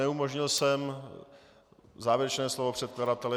Neumožnil jsem závěrečné slovo předkladatele.